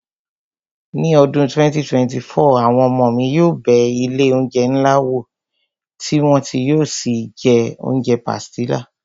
Ní ọdún 2024, àwọn ọmọ mi yóò bẹ ilé oúnjẹ ńlá wò tí wọn yóò sì jẹ oúnjẹ pàsìtílà